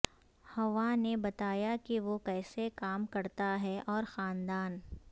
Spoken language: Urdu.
حوا نے بتایا کہ وہ کیسے کام کرتا ہے اور خاندان